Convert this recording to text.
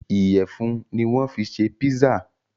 Ìyẹ̀fun ni wọ́n fi ṣe pizza.